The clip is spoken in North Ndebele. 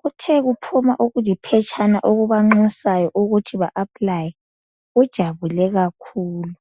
kuthe kuphuma okuliphetshana okubanxusayo ukuthi ba apply ujabule kakhulu.